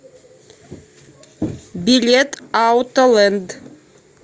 билет аутолэнд